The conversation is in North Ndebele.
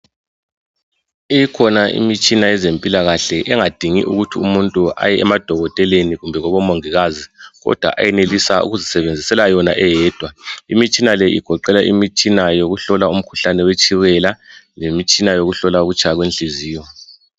Ikhona imitshina yezempilakahle engadingi ukuthi umuntu aye emadokoteleni kumbe kubomongikazi kodwa ayenelisa ukuzisebenzisela yona eyedwa. Imitshina le igoqela imitsna yokuhlola umkhuhlane wetshukela lemitshina yokuhlola ukutshaya kwenhliziyo.